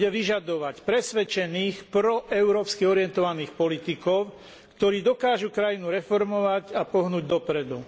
Bude vyžadovať presvedčených proeurópsky orientovaných politikov, ktorí dokážu krajinu reformovať a pohnúť dopredu.